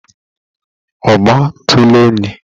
Ọgbatuluenyi